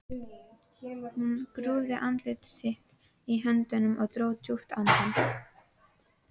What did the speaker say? Hann grúfði andlit sitt í höndunum og dró djúpt andann.